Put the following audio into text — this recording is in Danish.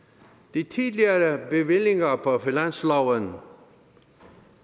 de tidligere bevillinger på finansloven har